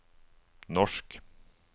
norsk